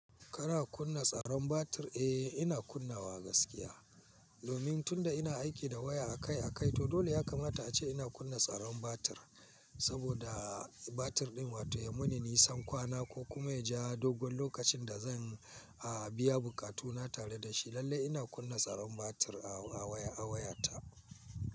Kana kunna tsaron batir? Eh, ina kunnawa gaskiya. Domin tunda ina aiki da waya a kai a kai, to dole ya kamata ace ina kunna tsaron batir. Saboda batir din wato ya muni nisan kwana ko kuma ya ja dogon lokacin da zan, a, biya bukatuna tare da shi. Lalle ina kunna tsaron batir a waya, a wayata.